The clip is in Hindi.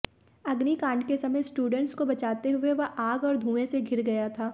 अग्निकांड के समय स्टूडेंट्स को बचाते हुए वह आग और धुएं से घिर गया था